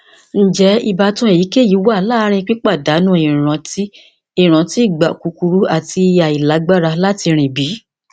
njẹ ibatan eyikeyi wa laarin pipadanu iranti iranti igba kukuru ati ailagbara lati rin bi